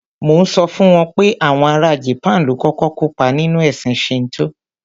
Mò ń sọ fún wọn pé àwọn ara Japan ló kọ́kọ́ kópá nínú ẹ̀sìn Shinto.